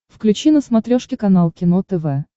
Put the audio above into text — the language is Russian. включи на смотрешке канал кино тв